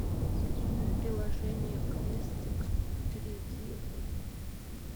приложение квестикс перейди в